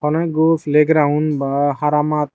hono ekgo pele geraun baa hara mat.